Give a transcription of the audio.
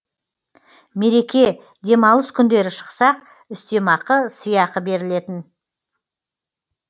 мереке демалыс күндері шықсақ үстемақы сыйақы берілетін